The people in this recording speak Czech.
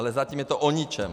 Ale zatím je to o ničem!